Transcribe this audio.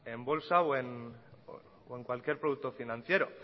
en bolsa o en cualquier producto financiero